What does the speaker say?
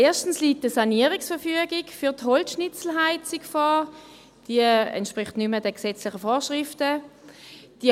– Erstens liegt eine Sanierungsverfügung für die Holzschnitzelheizung vor, die nicht mehr den gesetzlichen Vorschriften entspricht.